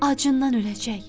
Acından öləcək.